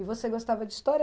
E você gostava de história?